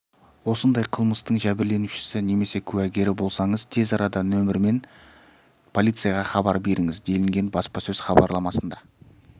осындай қылмыстың жәбірленушісі немесе куәгері болсаңыз тез арада нөмірімен полицияға хабар беріңіз делінген баспасөз хабарламасында